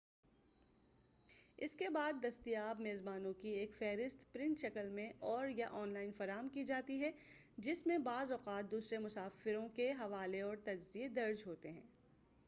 اس کے بعد دستیاب میزبانوں کی ایک فہرست پرنٹ شکل میں اور / یا آن لائن فراہم کی جاتی ہے جس میں بعض اوقات دوسرے مسافروں کے حوالے اور تجزیے درج ہوتے ہیں